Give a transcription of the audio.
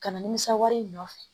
Kana nimisa wari in nɔfɛ